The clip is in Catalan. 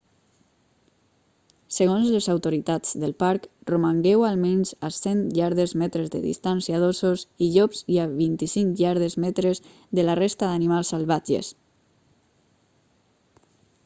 segons les autoritats del parc romangueu almenys a 100 iardes/metres de distància d'ossos i llops i a 25 iardes/metres de la resta d'animals salvatges!